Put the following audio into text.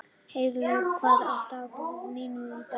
Heiðlaug, hvað er á dagatalinu mínu í dag?